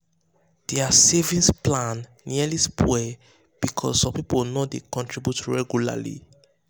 their savings plan nearly spoil because some people no dey contribute regularly.